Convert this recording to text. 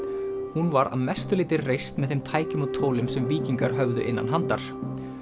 hún var að mestu leyti reist með þeim tækjum og tólum sem víkingar höfðu innan handar